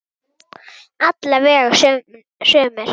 Alla vega sumir.